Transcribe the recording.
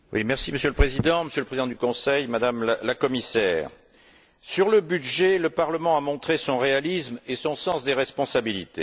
Monsieur le Président, Monsieur le Président du Conseil, Madame la Commissaire, sur le budget, le Parlement a montré son réalisme et son sens des responsabilités.